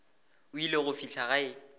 o ile go fihla gae